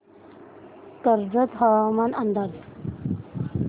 कर्जत हवामान अंदाज